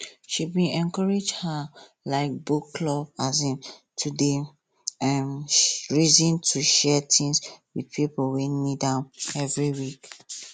she bin encourage her um book club um to dey um reason to share things with pipo wey need am every week